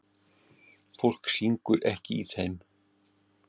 Fólk syngur ekki í þeim.